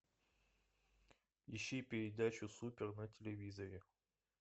ищи передачу супер на телевизоре